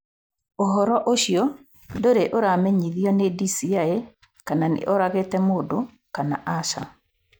ũhoro ũcio ndũrĩ ũramenyithio nĩ DCI kana nĩ oragĩte mũndũ kana aca.